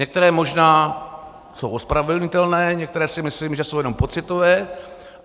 Některé možná jsou ospravedlnitelné, některé si myslím, že jsou jenom pocitové.